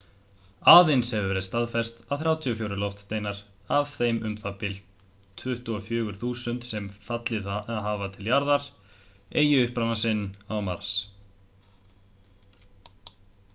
aðeins hefur verið staðfest að 34 loftsteinar af þeim um það bil 24.000 sem fallið hafa til jarðar eigi uppruna sinn á mars